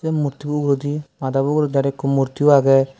murti bo uguredi madabo uguredi aro ekko murtiyo agey.